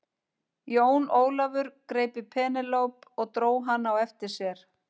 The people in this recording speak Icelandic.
Jón Ólafur greip í Penélope og dró hana á eftir sér.